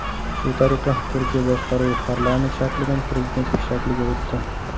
Shu tariqa, Turkiya boshqaruvi parlament shaklidan prezidentlik shakliga o‘tdi.